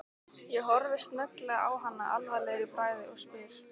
Ég horfi snögglega á hana alvarlegur í bragði og spyr